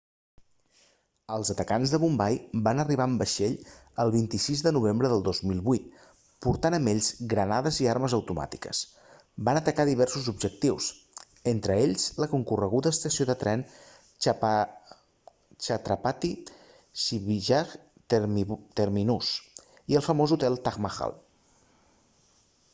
els atacants de bombai van arribar en vaixell el 26 de novembre de 2008 portant amb ells granades i armes automàtiques van atacar diversos objectius entre ells la concorreguda estació de tren chhatrapati shivaji terminus i el famós hotel taj mahal